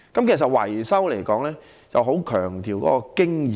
其實維修是十分強調經驗的。